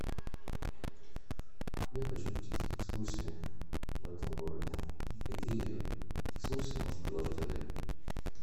я хочу посетить экскурсии в этом городе какие экскурсии может предложить отель